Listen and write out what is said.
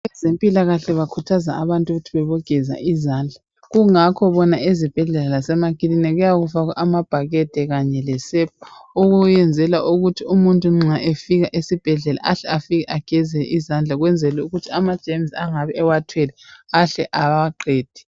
Abezempilakahle bakhuthaza abantu ukuthi bebogeza izandla kungakho bona ezibhedlela lasemakilinika kuyabe kufakwe amabhakede kanye lesepa okuyenzela ukuthi umuntu nxa efika esibhedlela ahle afike ageze izandla ukwenzela ukuthi amagerms engabi ewathwele ahle awaqede.